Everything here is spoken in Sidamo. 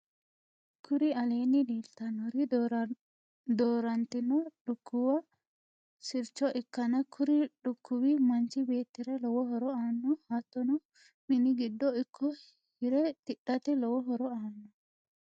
kuri aleenni leelitannori doorantino lukkuwu sircho ikkanna kuri lukkuwi manchi beettira lowo horo aanno. hattonni mini giddo ikko hire tidhate lowo horo aanno.